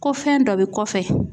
Ko fɛn dɔ be kɔfɛ